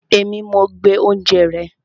Èmi, mo gbé oúnjẹ rẹ